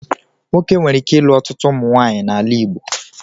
Nwoke nwere ike ilu ọtụtụ ụmụnwaanyị n'ala Igbo